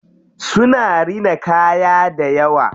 Suna rina kaya dayawa.